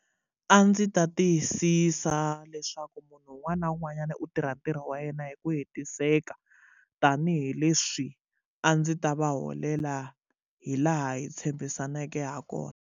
A ndzi ta tiyisisa leswaku munhu un'wana na un'wanyana u tirha ntirho wa yena hi ku hetiseka tanihileswi a ndzi ta va holela hi laha hi tshembisaneke ha kona.